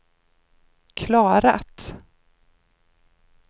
klarat